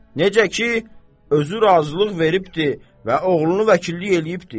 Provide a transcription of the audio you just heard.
Necə ki, özü razılıq veribdir və oğlunu vəkillik eləyibdir?